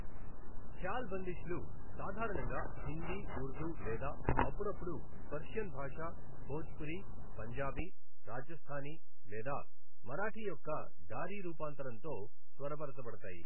ఖ్యాల్ బందిష్లు సాధారణంగా హిందీ ఉర్దూ లేదా అప్పుడప్పుడు పెర్షియన్ భాష, భోజ్పురి, పంజాబీ, రాజస్థానీ లేదా మరాఠీ యొక్క డారీ రూపాంతరంతో స్వరపరచబడతాయి